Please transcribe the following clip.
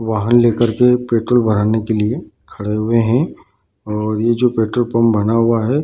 वाहन लेकर के पेट्रोल भराने के लिए खड़े हुए है और ये जो पेट्रोल पंप बना हुआ है --